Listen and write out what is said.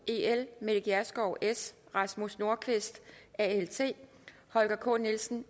mette gjerskov rasmus nordqvist holger k nielsen